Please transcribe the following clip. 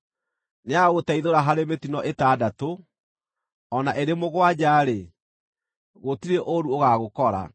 Nĩagagũteithũra harĩ mĩtino ĩtandatũ; o na ĩrĩ mũgwanja-rĩ, gũtirĩ ũũru ũgaagũkora.